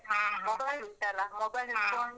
.